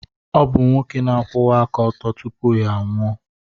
Ọ bụ nwoke na-akwụwa aka ọtọ tupu ya anwụọ.